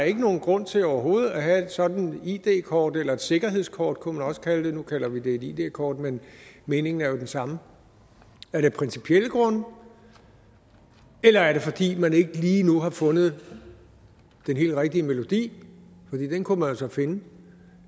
er nogen grund til overhovedet at have et sådant id kort eller et sikkerhedskort kunne man også kalde det nu kalder vi det et id kort men meningen er jo den samme er det af principielle grunde eller er det fordi man ikke lige nu har fundet den helt rigtige melodi den kunne man jo så finde